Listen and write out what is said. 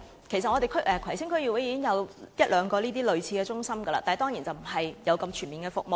其實葵青區已經有一兩間類似的中心，但當然服務沒有這麼全面。